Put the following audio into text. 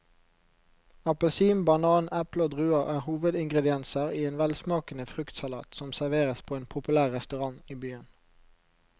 Appelsin, banan, eple og druer er hovedingredienser i en velsmakende fruktsalat som serveres på en populær restaurant i byen.